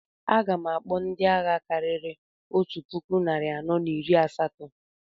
A gam akpọ ndị agha karịrị otu puku narị anọ na iri asatọ